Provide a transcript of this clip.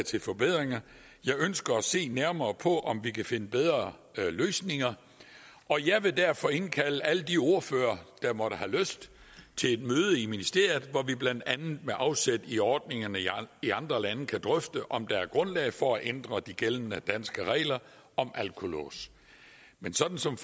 til forbedringer jeg ønsker at se nærmere på om vi kan finde bedre løsninger og jeg vil derfor indkalde alle de ordførere der måtte have lyst til et møde i ministeriet hvor vi blandt andet med afsæt i ordningerne i andre lande kan drøfte om der er grundlag for at ændre de gældende danske regler om alkolåse men sådan som